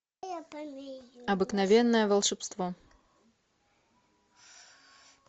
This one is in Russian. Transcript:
обыкновенное волшебство